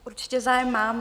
Určitě zájem mám.